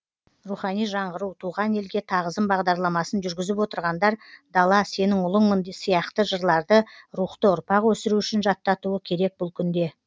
рухани жаңғыру туған елге тағзым бағдарламасын жүргізіп отырғандар дала сенің ұлыңмын сияқты жырларды рухты ұрпақ өсіруі үшін жаттатуы керек бұл күнде